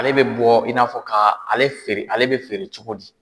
Ale bi bɔ i n'a fɔ ka ale feere, ale bi feere cogo di ?